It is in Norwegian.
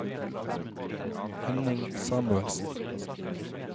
Henning Samuelsen